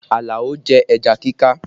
Alao jẹ ẹja kíká